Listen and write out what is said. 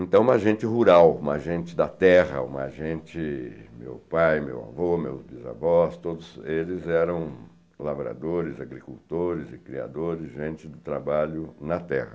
Então, uma gente rural, uma gente da terra, uma gente... Meu pai, meu avô, meus bisavós, todos eles eram lavradores, agricultores e criadores, gente de trabalho na terra.